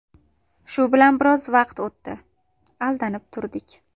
Shu bilan biroz vaqt o‘tdi, aldanib turdik.